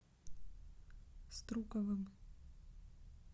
струковым